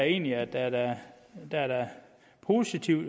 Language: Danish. egentlig at der er der er positive